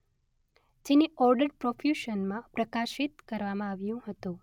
જેને ઓર્ડર્ડ પ્રોફ્યુશનમાં પ્રકાશિત કરવામાં આવ્યું હતું.